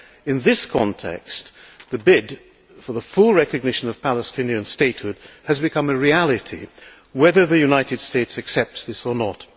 In this context, the bid for the full recognition of Palestinian statehood has become a reality whether the United States accepts this or not.